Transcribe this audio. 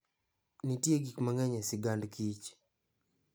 Nitie gik mang'eny e sigand kich.